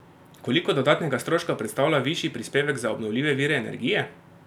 Koliko dodatnega stroška predstavlja višji prispevek za obnovljive vire energije?